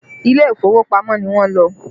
Ilé ìfowópamọ́ ni wọ́n lọ